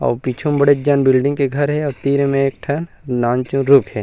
अउ पीछु म बड़े जान बिल्डिंग के घर हे अउ तीर मे एक ठ नानचु रुक हे।